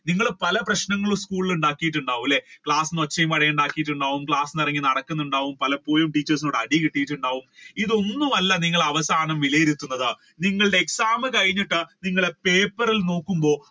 നിങ്ങൾ പല പ്രശ്നങ്ങളും സ്കൂളിൽ ഉണ്ടാക്കിയിട്ടുണ്ടാവും അല്ലെ class ഒച്ചയും ഉണ്ടാക്കിയിട്ടുണ്ടാവും പുറത്തു ഇറങ്ങി നടക്കുന്നുണ്ടാവും പലപ്പഴും teachers ന്റെ കയ്യിൽ നിന്ന് അടി കിട്ടിയിട്ടുണ്ടാവും ഇതൊന്നും അല്ല നിങ്ങളെ അവസാനം വിലയിരുത്തുന്നത്. നിങ്ങളുടെ exam കഴിഞ്ഞിട്ട് നിങ്ങളുടെ പേപ്പർ നോക്കുമ്പോ